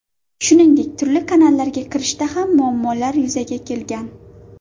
Shuningdek, turli kanallarga kirishda ham muammolar yuzaga kelgan.